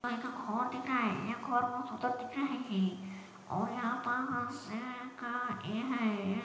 इ ता घर दिख रहा है ऐ घर बहुत सुंदर दिख रहा है के और यहाँ प अ शेर का ऐ हैं ।